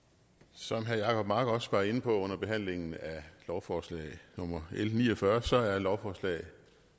som herre jacob mark også var inde på under behandlingen af lovforslag nummer l ni og fyrre er lovforslag